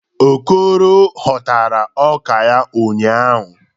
Okoro ghọtara ọka ya ụnyahụ.